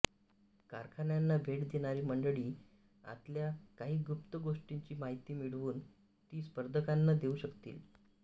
कारखान्यांना भेट देणारी मंडळी आतल्या काही गुप्त गोष्टींची माहिती मिळवून ती स्पर्धकांना देऊ शकतील